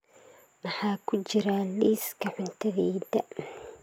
maxaa ku jira liiska cuntadayda